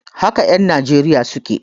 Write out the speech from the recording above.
Haka en Nijeriya suke